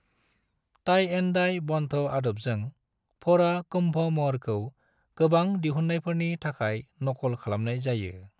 Tie and dye बंध आदबजों, फोड़ा कुंभ महरखौ गोबां दिहुनायफोरनि थाखाय नकल खालामनाय जायो।